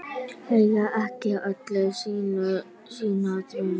Eiga ekki allir sína drauma?